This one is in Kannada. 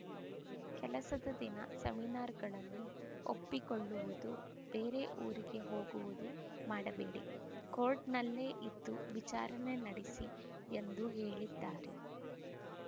ಕೆಲಸದ ದಿನ ಸೆಮಿನಾರ್‌ಗಳನ್ನು ಒಪ್ಪಿಕೊಳ್ಳುವುದು ಬೇರೆ ಊರಿಗೆ ಹೋಗುವುದು ಮಾಡಬೇಡಿ ಕೋರ್ಟ್‌ನಲ್ಲೇ ಇದ್ದು ವಿಚಾರಣೆ ನಡೆಸಿ ಎಂದು ಹೇಳಿದ್ದಾರೆ